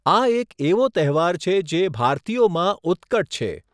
આ એક એવો તહેવાર છે જે ભારતીયોમાં ઉત્કટ છે.